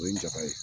O ye n da ye